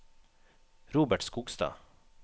Robert Skogstad